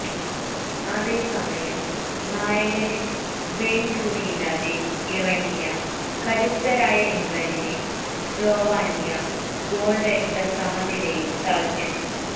അതേസമയം നായകന് വെയ്ന് റൂണിയില്ലാതെ ഇറങ്ങിയ കരുത്തരായ ഇംഗ്ലണ്ടിനെ സ്ലോവാനിയ ഗോള്രഹിത സമനിലയില് തളച്ചു